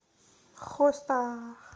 хоста